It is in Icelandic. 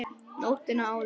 Nóttina áður!